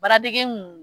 Baaradege kun